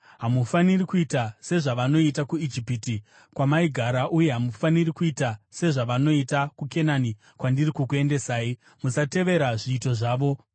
Hamufaniri kuita sezvavanoita kuIjipiti, kwamaigara uye hamufaniri kuita sezvavanoita kuKenani, kwandiri kukuendesai. Musatevera zviito zvavo.